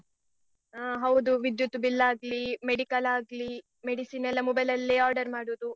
ಆ ಹೌದು ವಿದ್ಯುತ್ bill ಆಗ್ಲೀ, medical ಆಗ್ಲೀ, medicine ಎಲ್ಲ mobile ಅಲ್ಲೇ order ಮಾಡುದು.